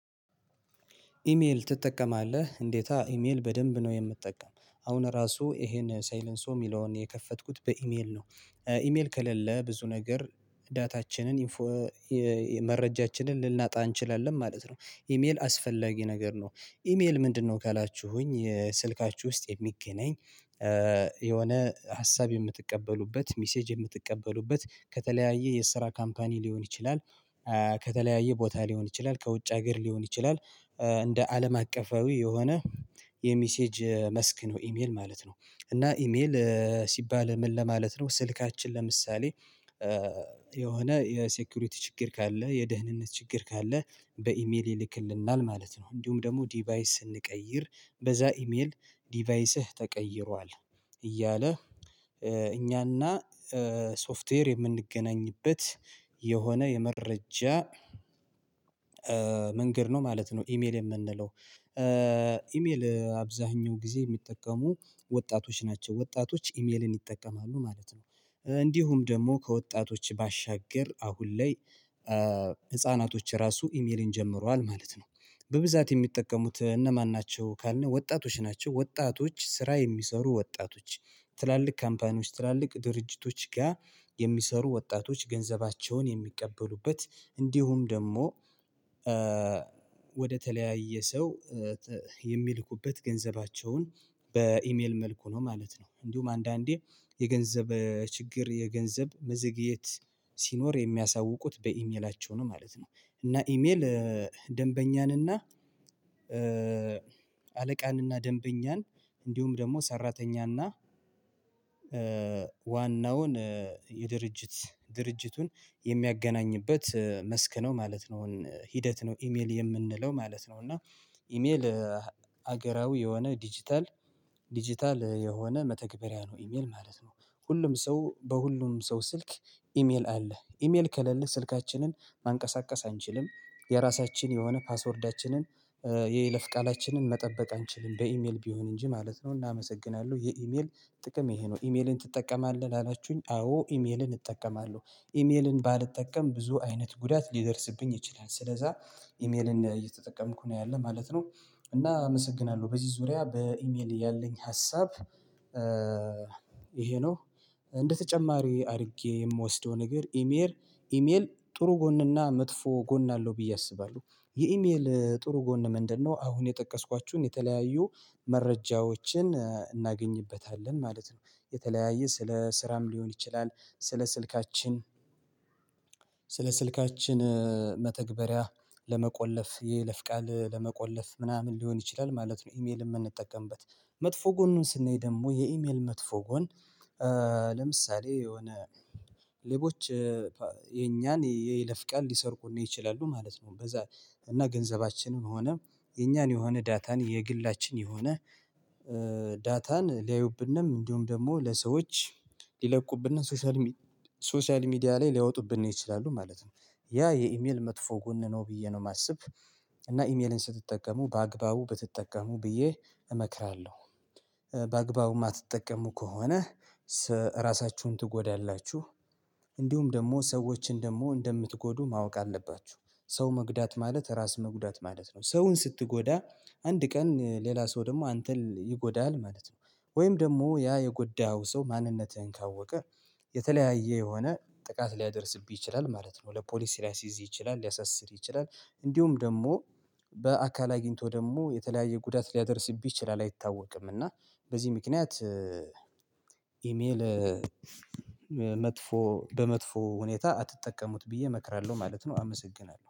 ኢሜል ትጠቀማለህ እንዴት ኢሜል በደንብ ነው የምጠቀም አሁን ራሱ ይሄን ሳይለንሶ የሚለውን የከፈትኩት በኢሜል ነው። ኢሜል ከሌለ ብዙ ነገር ዳታችንን መረጃችንን ልናጣ እንችላለን ማለት ነው። ኢሜል አስፈላጊ ነገር ነው። ኢሜል ምንድነው? ካላችሁኝ ስልካችሁ ውስጥ የሚገናኝ የሆነ ሀሳብ የምትቀበሉበት ሚሴጅ የምትቀበሉበት ከተለያየ የስራ ካምፓኒ ሊሆን ይችላል። ከተለያየ ቦታ ሊሆን ይችላል ከውጭ ሀገር ሊሆን ይችላል። እንደ አለም አቀፋዊ የሆነ የሚሴጅ መስክ ነው ኢሜል ማለት ነው። እና ኢሜል ሲባል ምን ለማለት ነው? ስልካችን ለምሳሌ የሆነ የሴኩሪቲ ችግር ካለ የደህንነት ችግር ካለ በኢሜል ይልክልናል ማለት ነው። እንዲሁም ደግሞ ዲቫይስ ስንቀይር በዛ ኢሜል ዲቫይስህ ተቀይሯል እያለ እኛና ሶፍትዌር የምንገናኝበት የሆነ የመረጃ መንገድ ነው ማለት ነው። ኢሜል የምንለው ኢሜል አብዛኛው ጊዜ የሚጠቀሙ ወጣቶች ናቸው ወጣቶች ኢሜልን ይጠቀማሉ ማለት ነው። እንዲሁም ደግሞ ከወጣቶች ባሻገር አሁን ላይ ህፃናቶች ራሱ ኢሜልን ጀምሯል ማለት ነው። በብዛት የሚጠቀሙት እነማን ናቸው ካልነ ወጣቶች ናቸው። ወጣቶች ስራ የሚሰሩ ወጣቶች ትላልቅ ካምፓኒዎች ትላልቅ ድርጅቶች ጋር የሚሰሩ ወጣቶች ገንዘባቸውን የሚቀበሉበት እንዲሁም ደግሞ ወደ ተለያየ ሰው የሚልኩበት ገንዘባቸውን በኢሜል መልኩ ነው ማለት ነው። እንዲሁም አንዳንዴ የገንዘብ ችግር የገንዘብ መዘግየት ሲኖር የሚያሳውቁት በኢሜላቸው ነው ማለት ነው። እና ኢሜል ደንበኛን እና አለቃን እና ደንበኛን እንዲሁም ደግሞ ሰራተኛና ዋናውን የድርጅት ድርጅቱን የሚያገናኝበት መስክ ነው ማለት ነው። ሂደት ነው ኢሜል የምንለው ማለት ነው። እና ኢሜል ሀገራዊ የሆነ ዲጂታል ዲጂታል የሆነ መተግበሪያ ነው ኢሜል ማለት ነው። ሁሉም ሰው በሁሉም ሰው ስልክ ኢሜል አለ ኢሜል ከለለ ስልካችንን ማንቀሳቀስ አንችልም የራሳችን የሆነ ፓስወርዳችንን የይለፍ ቃላችንን መጠበቅ አንችልም በኢሜል ቢሆን እንጂ ማለት ነው። እናመሰግናለን የኢሜል ጥቅም ይሄ ነው። ኢሜልን ትጠቀማለህ? አላችሁኝ አዎ ኢሜልን እጠቀማለሁ ኢሜልን ባልጠቀም ብዙ አይነት ጉዳት ሊደርስብኝ ይችላል ስለዛ ኢሜልን እየተጠቀምኩ ነው ያለ ማለት ነው። እና አመሰግናለሁ በዚህ ዙሪያ በኢሜል ያለኝ ሀሳብ ይሄ ነው። እንደተጨማሪ አድርጌ የምወስደውን ነገር ኢሜል ኢሜል ጥሩ ጎንና መጥፎ ጎን አለው ብዬ አስባለሁ። የኢሜል ጥሩ ጎን ምንድነው? አሁን የጠቀስኳቸውን የተለያዩ መረጃዎችን እናገኝበታለን ማለት ነው። የተለያየ ስለ ስራም ሊሆን ይችላል ስለ ስልካችን ስለ ስልካችን መተግበሪያ ለመቆለፍ የይለፍ ቃል ለመቆለፍ ምናምን ሊሆን ይችላል ማለት ነው። ኢሜል የምንጠቀምበት መጥፎ ጎኑን ስንይ ደግሞ የኢሜል መጥፎ ጎን ለምሳሌ የሆነ ሌቦች የኛን ይለፍቃል ሊሰርቁን ነው ይችላሉ ማለት ነው። በዛ እና ገንዘባችንን ሆነ የኛን የሆነ ዳታን የግላችን የሆነ ዳታን ሊያዩብንም እንዲሁም ደግሞ ለሰዎች ሊለቁብንና ሶሻል ሚዲያ ላይ ሊያወጡብን ይችላሉ ማለት ነው። ያ የኢሜል መጥፎ ጎን ነው ብዬ ነው የማስብ። እና ኢሜልን ስትጠቀሙ በአግባቡ ብትጠቀሙ ብዬ እመክራለሁ። በአግባቡ የማትጠቀሙ ከሆነ ራሳችሁን ትጎዳላችሁ። እንዲሁም ደግሞ ሰዎችን ደግሞ እንደምትጎዱ ማወቅ አለባችሁ ሰው መጉዳት ማለት ራስ መጉዳት ማለት ነው። ሰውን ስትጎዳ አንድ ቀን ሌላ ሰው ደግሞ አንተን ይጎዳሀል ማለት ነው። ወይም ደግሞ ያ የጎሀው ሰው ማንነትህን ካወቅህ የተለያየ የሆነ ጥቃት ሊያደርስብኝ ይችላል ማለት ነው። ለፖሊስ ሊያስይዝ ይችላል ሊያሳስር ይችላል። እንዲሁም ደግሞ በአካል አግኝቶ ደግሞ የተለያየ ጉዳት ሊያደርስብህ ይችላል አይታወቅም። እና በዚህ ምክንያት ኢሜል መጥፎ በመጥፎ ሁኔታ አትጠቀሙት ብዬ እመክራለሁ ማለት ነው። አመሰግናለሁ